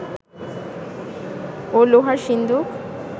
ও লোহার সিন্দুক